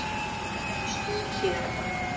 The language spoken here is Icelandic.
Laufásvegi Hlíðarenda